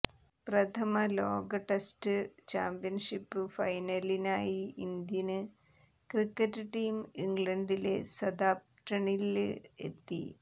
പ്രഥമ ലോക test championship ഫൈനലിനായി ഇന്ത്യന് ക്രിക്കറ്റ് ടീം ഇംഗ്ലണ്ടിലെ സതാംപ്ടണില് എത്തി